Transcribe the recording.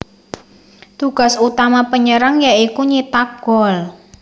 Tugas utama penyerang ya iku nyithak gol